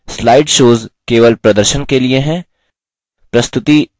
slide shows केवल प्रदर्शन के लिए हैं